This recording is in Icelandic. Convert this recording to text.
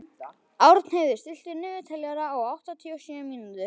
Árnheiður, stilltu niðurteljara á áttatíu og sjö mínútur.